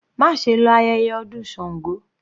Má ṣe lọ sí ayẹyẹ ọdún Sango.